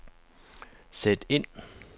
sæt ind